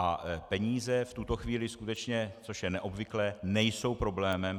A peníze v tuto chvíli skutečně, což je neobvyklé, nejsou problémem.